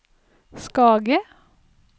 Skage